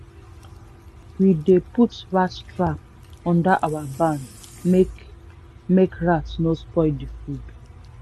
we dey put rat trap near our barn make make rat no spoil the food.